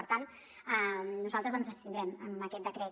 per tant nosaltres ens abstindrem en aquest decret